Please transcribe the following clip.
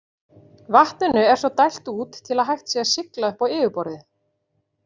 Vatninu er svo dælt út til að hægt sé að sigla upp á yfirborðið.